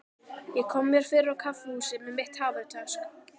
Ég kom mér fyrir á kaffihúsi með mitt hafurtask.